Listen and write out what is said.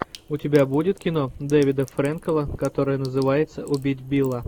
у тебя будет кино дэвида фрэнкела которое называется убить билла